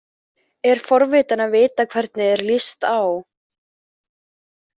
Er forvitin að vita hvernig þér líst á.